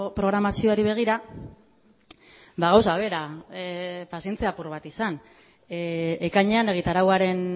programazioari begira gauza bera pazientzia apur bat izan ekainean egitarauaren